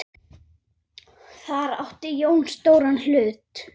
Þar átti Jón stóran hlut.